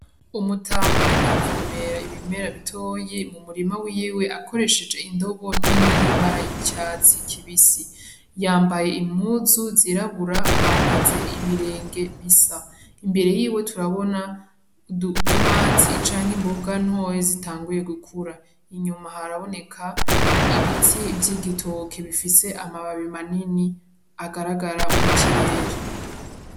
Umutaka ariko aravomera ibimera bitoyi m'umurima wiwe akoresheje indobo nini y'ibara ry'icatsi kibisi, yambaye impuzu zirabura, ahagaze ibirenge bisa, imbere yiwe turabona udutomati canke imbonga ntoyi zitanguye gukura, inyuma haraboneka ibiti vy'igitoke bifise amababi manini agaragara mu kirere.